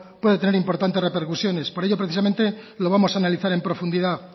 pueden tener importantes repercusiones por ello precisamente lo vamos a analizar en profundidad